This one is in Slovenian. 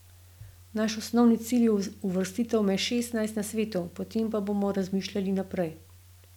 Naš osnovni cilj je uvrstitev med šestnajst na svetu, potem pa bomo razmišljali naprej.